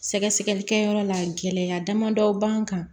Sɛgɛsɛgɛli kɛyɔrɔ la gɛlɛya damadɔ b'an kan